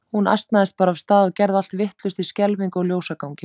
Hún asnaðist bara af stað og gerði allt vitlaust í skelfingu og ljósagangi.